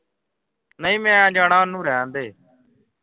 ਨਹੀਂ ਮੈਂ ਜਾਣਾ ਓਹਨੂੰ ਰਹਿਣਦੇ